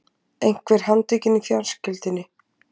Einhver handtekinn í fjölskyldunni?